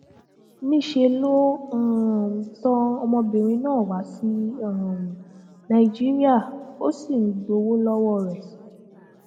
níṣẹ ló um tan ọmọbìnrin náà wá sí um nàìjíríà ó sì ń gbowó lọwọ rẹ